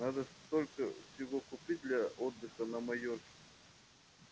надо столько всего купить для отдыха на майорке